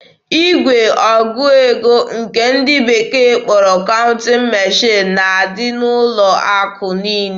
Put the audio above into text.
Igwe ọgụ ego nke ndị bekee kpọrọ "counting machine" na-adị n'ụlọ akụ niile.